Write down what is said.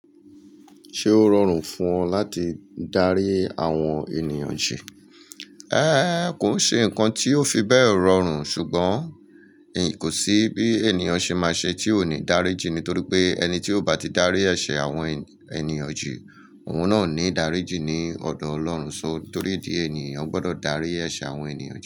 Ṣé ó rọrùn fún ọ láti darí àwọn ènìyàn jẹ? Ë! Kò ṣe ǹkan tí ó fi bẹ́ẹ̀ rọrùn ṣùgbọ́n kò sí bí ènìyàn ṣe máa ṣe tí ò ní dárí jí nítorí pé ẹni tí ò bá ti darí ẹ̀ṣẹ̀ àwọn ènìyàn jù, òun náà ò ní dárí jí ní ọ̀dọ̀ Ọlọ́run ṣó. Nítorí tí ènìyàn gbọ́dọ̀ darí ẹ̀ṣẹ̀ àwọn ènìyàn jẹ.